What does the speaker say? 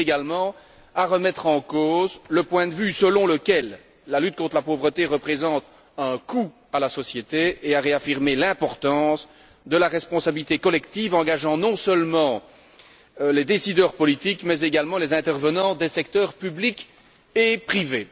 Elle vise également à remettre en cause le point de vue selon lequel la lutte contre la pauvreté représente un coût pour la société et à réaffirmer l'importance de la responsabilité collective engageant non seulement les décideurs politiques mais également les intervenants des secteurs public et privé.